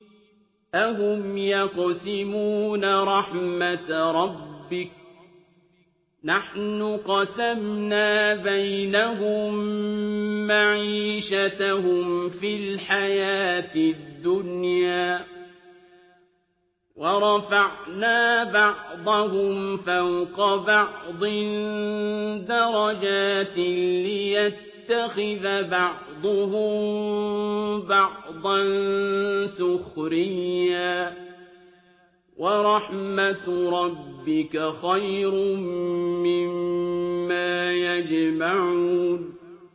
أَهُمْ يَقْسِمُونَ رَحْمَتَ رَبِّكَ ۚ نَحْنُ قَسَمْنَا بَيْنَهُم مَّعِيشَتَهُمْ فِي الْحَيَاةِ الدُّنْيَا ۚ وَرَفَعْنَا بَعْضَهُمْ فَوْقَ بَعْضٍ دَرَجَاتٍ لِّيَتَّخِذَ بَعْضُهُم بَعْضًا سُخْرِيًّا ۗ وَرَحْمَتُ رَبِّكَ خَيْرٌ مِّمَّا يَجْمَعُونَ